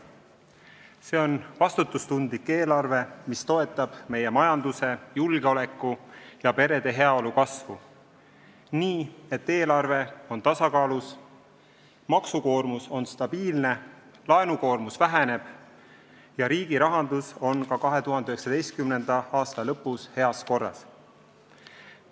See on vastutustundlik eelarve, mis toetab meie majanduse, julgeoleku ja perede heaolu kasvu nii, et eelarve on tasakaalus, maksukoormus on stabiilne, laenukoormus väheneb ja riigi rahandus on ka 2019. aasta lõpus heas korras.